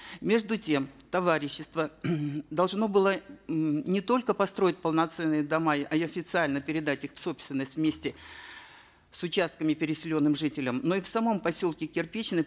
между тем товарищество должно было м не только построить полноценные дома и официально передать их в собственность вместе с участками переселенным жителям но и в самом поселке кирпичный